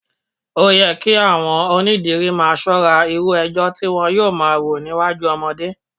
Ó yẹ kí àwọn onídìrí máa ṣọ́ra irú ẹjọ́ tí wọn yóò máa rò níwájú ọmọdé